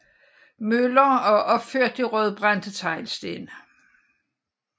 Møller og opført i rødbrændte teglsten